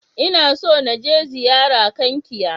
Ina so na je ziyara Kankia.